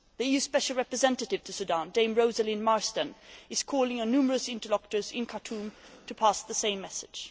The EU Special Representative to Sudan, Dame Rosalind Marsden, is calling on numerous interlocutors in Khartoum to pass on the same message.